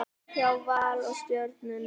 Sigur hjá Val og Stjörnunni